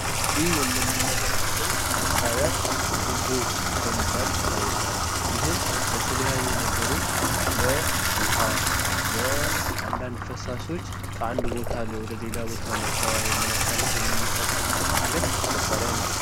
ይህ የምንመለከተው መሳሪያ ቱቦ በመባል ይታወቃል። ይህም ለተለያዩ ነገሮች ለውሃ፣ ለአንዳንድ ፈሳሾች ከአንድ ቦታ ወደ አንድ ቦታ ለማስተላለፍ የምንጠቀምበት አይነት መሳሪያ ነው።